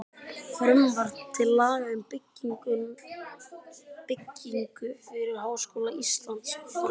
Frumvarp til laga um byggingu fyrir Háskóla Íslands, frá